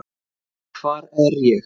HVAR ER ÉG?